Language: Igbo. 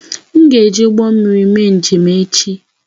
M ga-eji ụgbọ mmiri mee njem echi